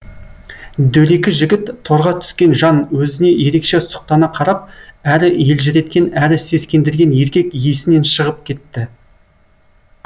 дөрекі жігіт торға түскен жан өзіне ерекше сұқтана қарап әрі елжіреткен әрі сескендірген еркек есінен шығып кетті